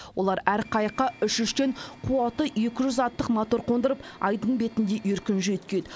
олар әр қайыққа үш үштен қуаты екі жүз ваттық мотор қондырып айдын бетінде еркін жүйткиді